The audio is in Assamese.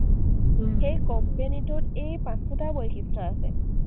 সেই company টোত এই পাঁচোটা বৈশিষ্ট্য আছে।